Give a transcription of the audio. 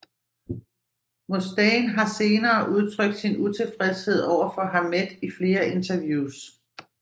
Mustaine har senere udtrykt sin utilfredshed overfor Hammett i flere interviews